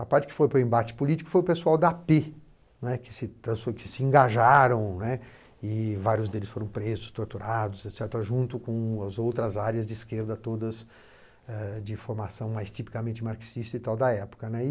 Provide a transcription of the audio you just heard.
A parte que foi para o embate político foi o pessoal da á pê, né, que se que se engajaram, né, e vários deles foram presos, torturados et cetera., junto com as outras áreas de esquerda, todas eh de formação mais tipicamente marxista da época, né.